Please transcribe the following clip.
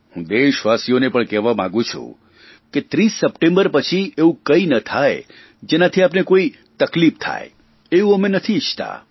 હું દેશવાસીઓને પણ કહેવા માગું છું કે 30 સપ્ટેમ્બર પછી એવું કંઇ ના થાય જેનાથી આપને કોઇ તકલીફ થાય એવું અમે નથી ઇચ્છતા